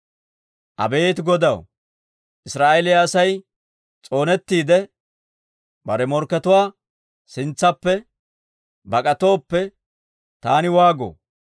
Abeet Godaw, Israa'eeliyaa Asay s'oonettiide, bare morkkatuwaa sintsaappe bak'atooppe, taani waagoo?